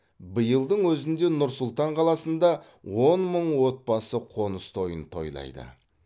биылдың өзінде нұр сұлтан қаласында он мың отбасы қоныс тойын тойлайды